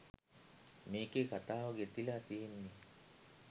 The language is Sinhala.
මේකෙ කතාව ගෙතිල තියෙන්නෙ